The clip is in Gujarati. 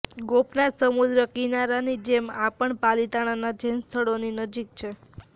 ગોપનાથ સમુદ્ર કિનારાની જેમ આ પણ પાલિતાણાના જૈન સ્થળોની નજીક છે